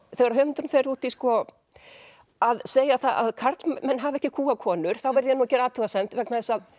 þegar höfundurinn fer út í að segja það að karlmenn hafi ekki kúgað konur þá verð ég að gera athugasemd vegna þess að